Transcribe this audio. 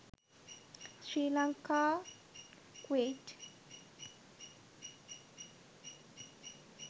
sri lanka Kuwait